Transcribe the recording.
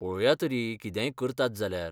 पळोवया तरी कितेंय करतात जाल्यार.